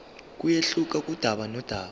kuyehluka kudaba nodaba